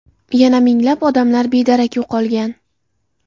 Yana minglab odamlar bedarak yo‘qolgan.